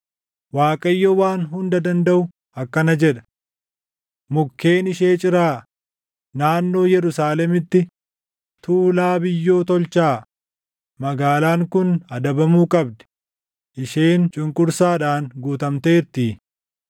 Waaqayyo Waan Hunda Dandaʼu akkana jedha; “Mukkeen ishee ciraa; naannoo Yerusaalemitti tuulaa biyyoo tolchaa; magaalaan kun adabamuu qabdi; isheen cunqursaadhaan guutamteertii.